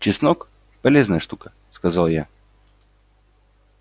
чеснок полезная штука сказал я